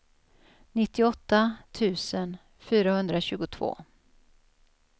nittioåtta tusen fyrahundratjugotvå